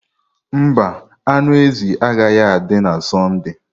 Mba, anụ ezi agaghị adị na Sọnde.